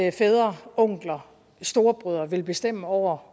at fædre onkler storebrødre vil bestemme over